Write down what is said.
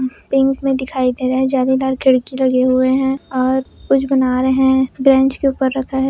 Pink मे दिखाई दे रहा है। जालीदार खिड़की लगे हुए है और कुछ बना रहे है बेंच के ऊपर रखा है।